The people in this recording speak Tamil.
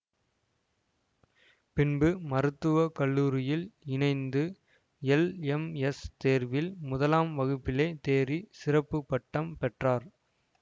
பின்பு மருத்துவ கல்லூரியில் இணைந்து எல் எம் எஸ் தேர்வில் முதலாம் வகுப்பிலே தேறிச சிறப்பு பட்டம் பெற்றார்